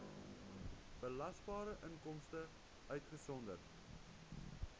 belasbare inkomste uitgesonderd